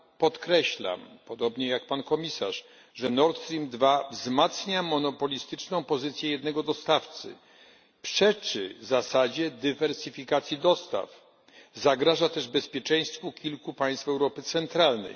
podkreślam podobnie jak Pan Komisarz że Nord Stream II wzmacnia monopolistyczną pozycję jednego dostawcy, przeczy zasadzie dywersyfikacji dostaw, zagraża też bezpieczeństwu kilku państw Europy Centralnej.